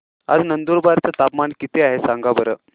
आज नंदुरबार चं तापमान किती आहे सांगा बरं